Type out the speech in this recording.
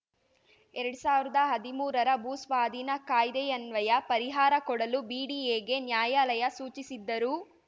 ಎರಡ್ ಸಾವಿರದ ಹದಿಮೂರರ ಭೂ ಸ್ವಾಧೀನ ಕಾಯ್ದೆಯನ್ವಯ ಪರಿಹಾರ ಕೊಡಲು ಬಿಡಿಎಗೆ ನ್ಯಾಯಾಲಯ ಸೂಚಿಸಿದ್ದರೂ